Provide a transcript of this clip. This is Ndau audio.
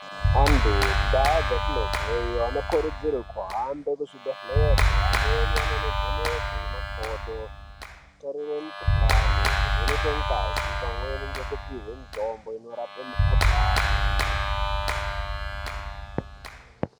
Antu mundau dzatinobveyo vanokurudzirwe kuhambe kuzvibhedhlere, amweni vanondovhenekwe makodo, kutarirwe mikuhlani, kuvhenekwe ngazi, pamweni ngekupihwe mitombo inorape mikuhlani.